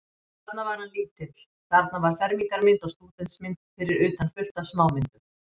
Þarna var hann lítill, þarna var fermingarmynd og stúdentsmynd, fyrir utan fullt af smámyndum.